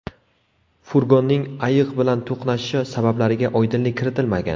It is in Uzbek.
Furgonning ayiq bilan to‘qnashishi sabablariga oydinlik kiritilmagan.